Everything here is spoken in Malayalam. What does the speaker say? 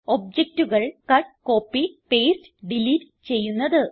ഒബ്ജക്റ്റുകൾ കട്ട് കോപ്പി പാസ്തെ ഡിലീറ്റ് ചെയ്യുന്നത്